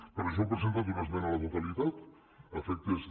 per això hem presentat una esmena a la totalitat a efectes de